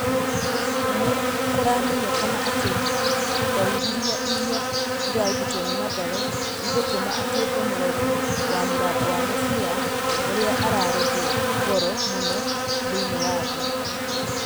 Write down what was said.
Nĩkũramenyekana atĩ thaĩrĩra ĩrĩa ĩrarutirwo nĩ Mathare ĩgũtũma atuĩke mũrorĩ wa mũrango wa mũbira ũrĩa ararĩhwo goro mũno thĩiniĩ wa thĩ.